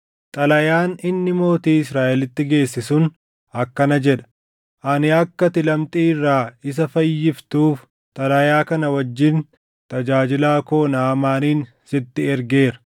Xalayaan inni mootii Israaʼelitti geesse sun akkana jedha; “Ani akka ati lamxii irraa isa fayyiftuuf xalayaa kana wajjin tajaajilaa koo Naʼamaanin sitti ergeera.”